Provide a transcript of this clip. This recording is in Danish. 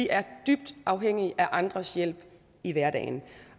er dybt afhængige af andres hjælp i hverdagen